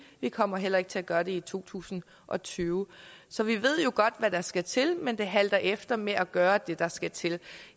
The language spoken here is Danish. vi kommer heller ikke til at gøre det i to tusind og tyve så vi ved jo godt hvad der skal til men det halter efter med at gøre det der skal til